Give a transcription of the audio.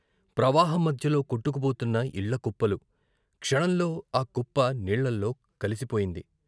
ప్రవాహం మధ్యలో కొట్టుకుపోతున్న ఇళ్ళ కుప్పలు, క్షణంలో కుప్ప నీళ్ళలో కలిసిపోయింది.